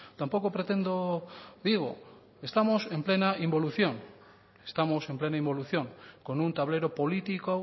tampoco pretendo digo estamos en plena involución estamos en plena involución con un tablero político